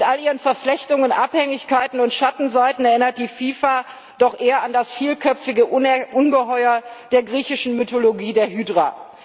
Mit all ihren Verflechtungen, Abhängigkeiten und Schattenseiten erinnert die FIFA doch eher an das vielköpfige Ungeheuer der griechischen Mythologie, die Hydra.